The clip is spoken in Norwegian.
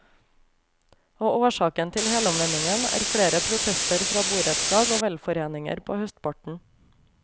Og årsaken til helomvendingen er flere protester fra borettslag og velforeninger på høstparten.